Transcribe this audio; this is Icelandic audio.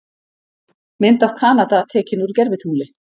Mynd af Kanada tekin úr gervitungli.